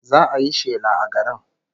Za'a yi shela a garin